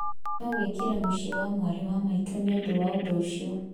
No wĩkĩra mũciĩ wa mwarĩ wa maitũ nĩ ũndũ wa ũndũ ũcio.